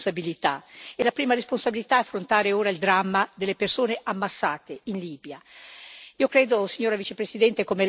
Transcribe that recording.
Ma ora ognuno si deve assumere fino in fondo le sue responsabilità, e la prima responsabilità è affrontare ora il dramma delle persone ammassate in Libia.